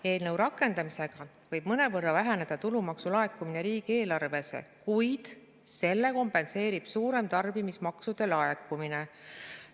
Eelnõu rakendamisega võib mõnevõrra väheneda tulumaksu laekumine riigieelarvesse, kuid selle kompenseerib suurem tarbimismaksude laekumine.